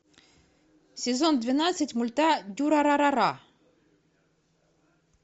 сезон двенадцать мульта дюрарара